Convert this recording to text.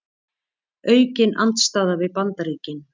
Aukin andstaða við Bandaríkin